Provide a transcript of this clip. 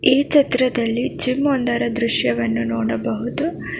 ಈ ಚಿತ್ರದಲ್ಲಿ ಜಿಮ್ ಒಂದರ ದೃಶ್ಯವನ್ನು ನೋಡಬಹುದು.